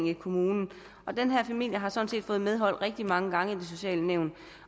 i kommunen den her familie har sådan set fået medhold rigtig mange gange af det sociale nævn